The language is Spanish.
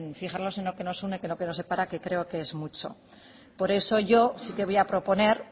fijarnos en lo que nos une que no en lo que nos separa que creo que es mucho por eso yo sí que voy a proponer